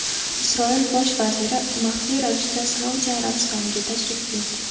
Isroil bosh vaziri maxfiy ravishda Saudiya Arabistoniga tashrif buyurdi.